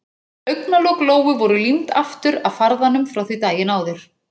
Augnalok Lóu voru límd aftur af farðanum frá því daginn áður.